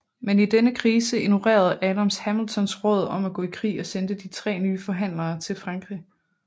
Men i denne krise ignorerede Adams Hamiltons råd om at gå i krig og sendte tre nye forhandlere til Frankrig